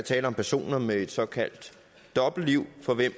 tale om personer med et såkaldt dobbeltliv for hvem